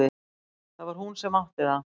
Það var hún sem átti það.